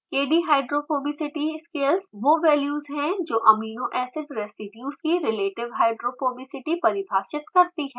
kdhydrophobicity scales वो values हैं जो एमिनो एसिड रेसीड्यूज़ की रिलेटिव hydrophobicity परिभाषित करती हैं